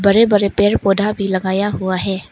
बड़े बड़े पेड़ पौधा भी लगाया हुआ है।